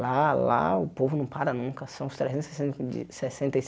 Lá, lá o povo não para nunca. São os trezentos sessenta di sessenta e